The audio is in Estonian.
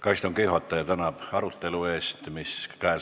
Ka istungi juhataja tänab arutelu eest, mis on lõppenud.